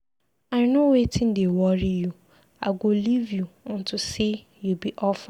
I know wetin dey worry you, I go leave you unto say you be orphan.